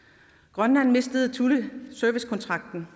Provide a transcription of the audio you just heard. grønland mistede servicekontrakten